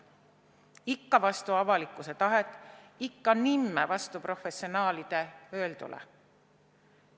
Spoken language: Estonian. Ikka vastu avalikkuse tahet, ikka nimme vastu professionaalide öeldule.